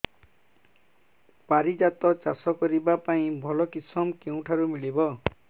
ପାରିଜାତ ଚାଷ କରିବା ପାଇଁ ଭଲ କିଶମ କେଉଁଠାରୁ ମିଳିବ